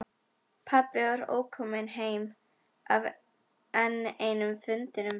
Pabbi var ókominn heim af enn einum fundinum.